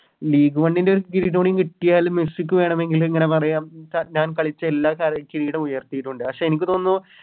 League one ൻറെ ഒരു ഇതൂടി കിട്ടിയാല് മെസ്സിക്ക് വേണമെങ്കില് ഇങ്ങനെ പറയാം ഞാൻ കളിച്ചേ എല്ലാ ക കിരീടം ഉയർത്തിയിട്ടുണ്ട് പക്ഷെ എനിക്ക് തോന്നുന്നു